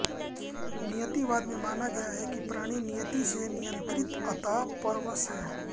नियतिवाद में माना गया है कि प्राणी नियति से नियंत्रित अत परवश है